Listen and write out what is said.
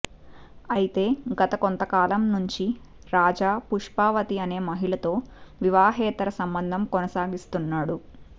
అయితే గత కొంత కాలం నుంచి రాజా పుష్పావతి అనే మహిళతో వివాహేతర సంబంధం కొనసాగిస్తున్నాడు